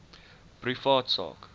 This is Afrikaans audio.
privaat sak